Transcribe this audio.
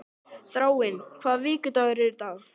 Þráinn, hvaða vikudagur er í dag?